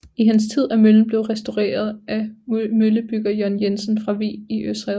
I hans tid er møllen blevet restaureret af møllebygger John Jensen fra Vig i Odsherred